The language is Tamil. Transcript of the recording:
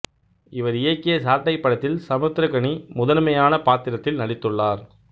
இவர் இயக்கிய சாட்டை படத்தில் சமுத்திரக்கனி முதன்மையானப் பாத்திரத்தில் நடித்துள்ளார்